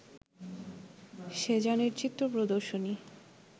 সেজানের চিত্র প্রদর্শনী